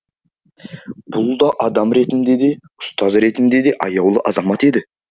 бұл да адам ретінде де ұстаз ретінде де аяулы азамат еді